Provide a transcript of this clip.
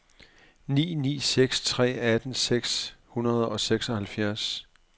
ni ni seks tre atten seks hundrede og seksoghalvfjerds